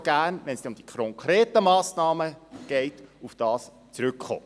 Wenn es dann um die konkreten Massnahmen geht, möchte ich gerne darauf zurückkommen.